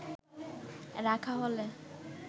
রাখা হলে